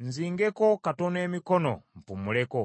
n’okufunya emikono okuwummulako,